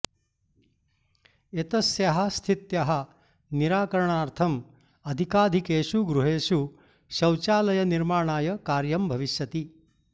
एतस्याः स्थित्याः निराकरणार्थम् अधिकाधिकेषु गृहेषु शौचालयनिर्माणाय कार्यं भविष्यति